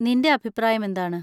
നിന്‍റെ അഭിപ്രായം എന്താണ്?